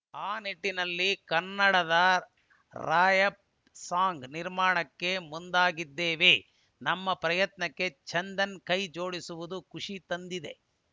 ಆ ನಿಟ್ಟಿನಲ್ಲಿ ಕನ್ನಡದ ರಾರ‍ಯಪ್‌ ಸಾಂಗ್‌ ನಿರ್ಮಾಣಕ್ಕೆ ಮುಂದಾಗಿದ್ದೇವೆ ನಮ್ಮ ಪ್ರಯತ್ನಕ್ಕೆ ಚಂದನ್‌ ಕೈ ಜೋಡಿಸಿರುವುದು ಖುಷಿ ತಂದಿದೆ